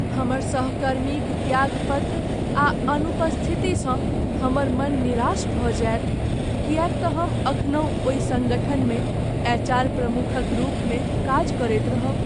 हमर सहकर्मीक त्यागपत्र आ अनुपस्थितिसँ हमर मन निरास भऽ जायत किएक तँ हम एखनहु ओहि सङ्गठनमे एचआर प्रमुखक रूपमे काज करैत रहब।